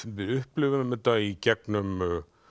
við upplifum þetta í gegnum